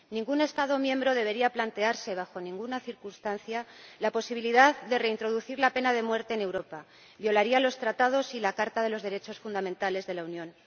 Ningún Estado miembro debería plantearse bajo ninguna circunstancia la posibilidad de reintroducir la pena de muerte en Europa violaría los Tratados y la Carta de los Derechos Fundamentales de la Unión.